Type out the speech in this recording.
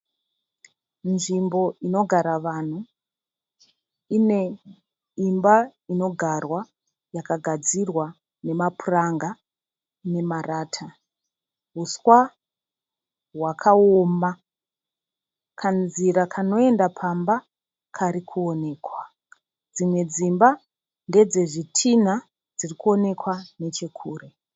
Nzvimbo inogara vanhu. Ine imba inogarwa yakagadzirwa nemapuranga nemarata. Huswa hwakaoma, kanzira kanoenda pamba karikuonekwa. Dzimwe dzimba ndedzezvitinha dzirkuonekwa nechekure.